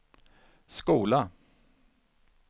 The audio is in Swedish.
skola